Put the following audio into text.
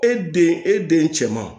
E den e den cɛman